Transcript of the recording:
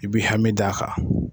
I bi hami d'a kan.